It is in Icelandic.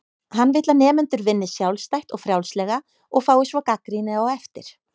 Hann vill að nemendur vinni sjálfstætt og frjálslega og fái svo gagnrýni á eftir.